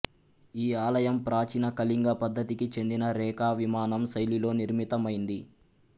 ఈ ఆలయం ప్రాచీన కళింగ పద్ధతికి చెందిన రేఖా విమానం శైలిలో నిర్మితమైంది